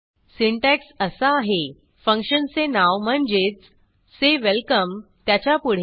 syntax असा आहेः फंक्शनचे नाव म्हणजेच say welcome त्याच्यापुढे